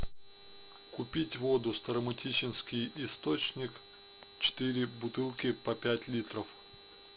купить воду старо мытищинский источник четыре бутылки по пять литров